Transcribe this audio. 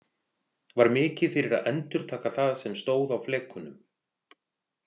Var mikið fyrir að endurtaka það sem stóð á flekunum.